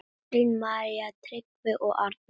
Katrín, María, Tryggvi og Arnar.